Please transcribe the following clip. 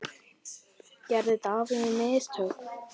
Gerði David mistök?